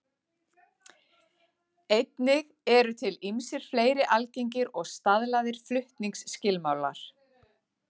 Einnig eru til ýmsir fleiri algengir og staðlaðir flutningsskilmálar.